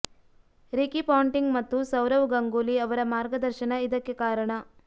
Ricky Ponting ಮತ್ತು ಸೌರವ್ ಗಂಗೂಲಿ ಅವರ ಮಾರ್ಗದರ್ಶನ ಇದಕ್ಕೆ ಕಾರಣ